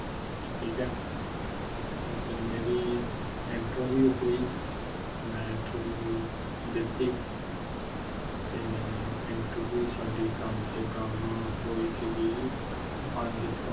ਠੀਕ ਆ। ਤੇ ਫਿਰ ਮੇਰੀ interview ਹੁਈ ਤੇ ਮੈ interview ਦਿਤੀ ਤੇ interview ਸਾਡੀ ਕੰਮ ਸੇ ਕੰਮ ਹੋਈ ਸੀਗੀ ਪੰਜ ਤੋਂ